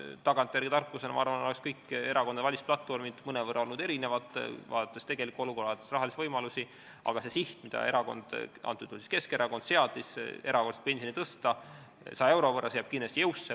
Tagantjärele tarkuse abil, ma arvan, oleks kõikide erakondade valimisplatvormid olnud mõnevõrra erinevad, nähes tegelikku olukorda ja rahalisi võimalusi, aga see siht, mida erakond, antud juhul Keskerakond seadis, tõsta erakorraliselt pensioni 100 euro võrra, jääb kindlasti jõusse.